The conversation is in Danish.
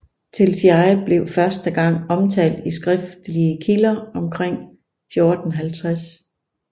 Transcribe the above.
Telšiai blev første gang omtalt i skriftlige kilder omkring 1450